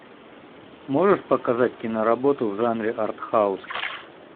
можешь показать киноработу в жанре артхаус